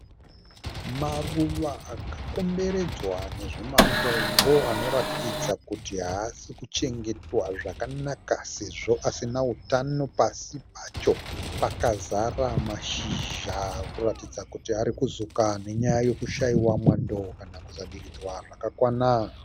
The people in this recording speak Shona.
Maruva akakomberedzwa nezvimatombo anoratidza kuti haasi kuchengetwa zvakanaka sezvo asina utano. Pasi pacho pakazara mashizha kuratidza kuti ari kuzuka nenyaya yekushaiwa mwando kana kusadiridzwa zvakakwana.